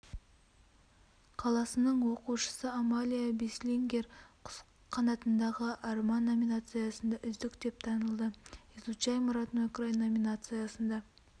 қаласының оқушысы амалия бислингер құс қанатындағы арман номинациясында үздік деп танылды изучаем родной край номинациясында